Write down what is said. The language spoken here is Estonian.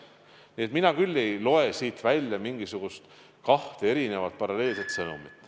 Nii et mina küll ei loe siit välja mingil moel kahte erinevat paralleelset sõnumit.